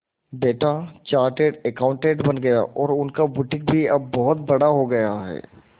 बेटा chartered accountant बन गया और उनका बुटीक भी अब बहुत बड़ा हो गया है